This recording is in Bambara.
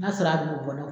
N'a sɔrɔ a bɛ bɔ